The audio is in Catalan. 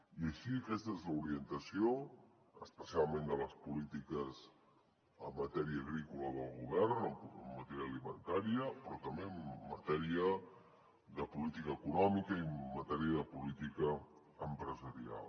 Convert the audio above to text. i així aquesta és l’orientació especialment de les polítiques en matèria agrícola del govern en matèria alimentària però també en matèria de política econòmica i en matèria de política empresarial